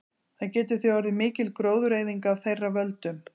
Það getur því orðið mikil gróðureyðing af þeirra völdum.